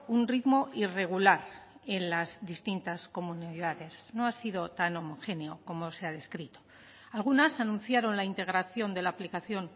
un ritmo irregular en las distintas comunidades no ha sido tan homogéneo como se ha descrito algunas anunciaron la integración de la aplicación